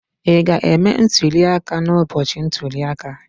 Ị ga-eme ntuli aka n'ụbọchị ntuli aka?